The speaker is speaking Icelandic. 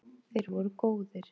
Þeir voru góðir.